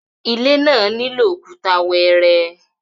ilé yen nilo Òkúta wẹẹrẹ